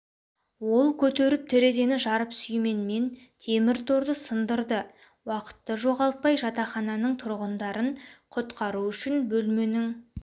ол көтеріп терезені жарып сүйменмен темір торды сындырды уақытты жоғалтпай жатахананың тұрғындарын құтқару үшін бөлменің